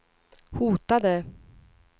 hotade